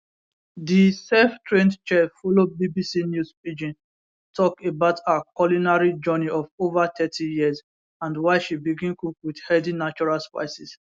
di selftrained chef follow bbc news pidgin tok about her culinary journey of ova thirty years and why she begin cook wit healthy natural spices